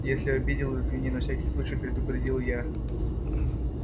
если обидел извини на всякий случай предупредил я